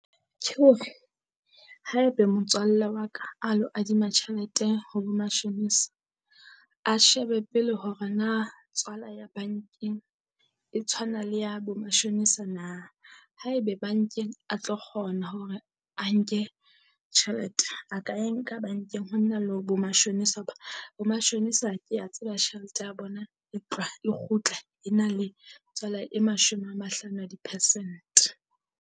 Tjhe hore haebe motswalle wa ka a lo adima tjhelete ho bo mashonisa, a shebe pele hore na tswala ya bankeng e tshwana le ya bo mashonisa na. Haebe bankeng a tlo kgona hore a nke tjhelete a ka e nka bankeng ho na le ho bo mashonisa hoba bo mashome kea tseba tjhelete ya bona e tloha kgutla e na le tswala e mashome a mahlano a di-percent.